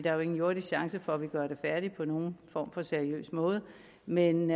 er jo ingen jordisk chance for at vi gør det færdigt på nogen form for seriøs måde men